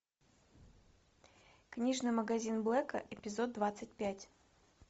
книжный магазин блэка эпизод двадцать пять